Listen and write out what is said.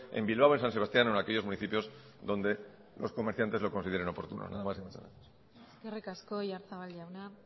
en bilbao en san sebastián o en aquellos municipios donde los comerciantes lo consideren oportuno nada más y muchas gracias eskerrik asko oyarzabal jauna